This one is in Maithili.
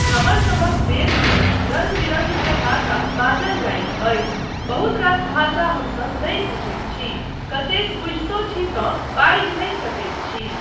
हमरसभक देशमे रङ्ग बिरङ्ग के भाषा बाजल जाइत अछि, बहुत रास भाषा हमसब नहि बुझैत छी, कतेक बुझितो छी तँ बाजि नहि सकैत छी।